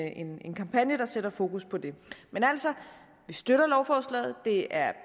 en en kampagne der sætter fokus på det men vi støtter lovforslaget det er